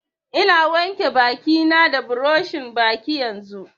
Ina wanke baki na da buroshin baki yanzun